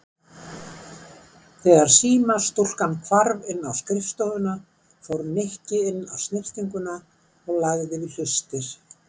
Þegar símastúlkan hvarf inn á skrifstofuna fór Nikki inn á snyrtinguna og lagði við hlustir.